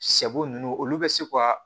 Sɛ bo ninnu olu bɛ se ka